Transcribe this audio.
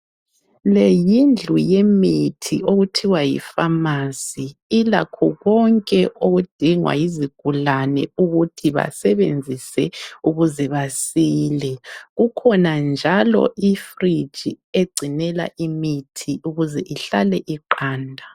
Leyindlu yemithi okuthiwa yi pharmacy ilakho konke okudingwa yizigulane ukuthi basebenzise ukuze basile kukhona njalo i fridge egcinela imithi ukuze ihlale iqanda .